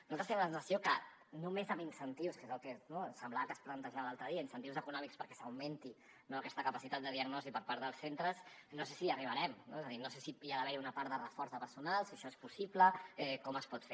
nosaltres tenim la sensació que només amb incentius que és el que no semblava que es plantejava l’altre dia incentius econòmics perquè s’augmenti aquesta capacitat de diagnosi per part dels centres no sé si hi arribarem no és a dir no sé si hi ha d’haver una part de reforç de personal si això és possible com es pot fer